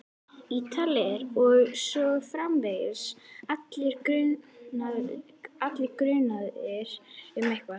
Ítalir. og svo framvegis, allir grunaðir um eitthvað.